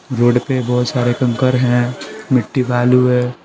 Road पे बहुत सारे कंकर हैं मिट्टी बालू है।